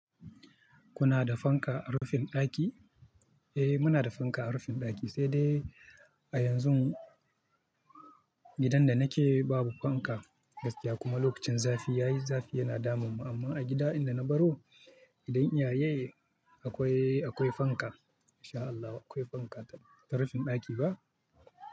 Kuna da fanka a rufin ɗaki? Eh muna da fanka a rufin ɗaki, sai dai a yanzun gidan da nake babu fanka gaskiya kuma lokacin zafi yayi zafi yana damun mu amma a gida'in da na baro, gidan iyaye akwai, akwai fanka sha Allah akwai fanka ta rufin ɗaki ba.